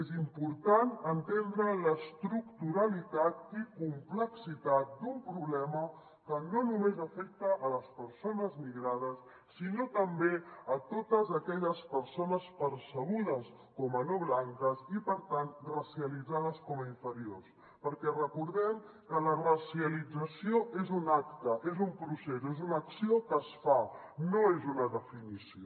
és important entendre l’estructuralitat i complexitat d’un problema que no només afecta les persones migrades sinó també totes aquelles persones percebudes com a no blanques i per tant racialitzades com a inferiors perquè recordem que la racialització és un acte és un procés és una acció que es fa no és una definició